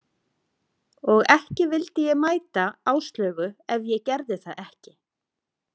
Og ekki vildi ég mæta Áslaugu ef ég gerði það ekki.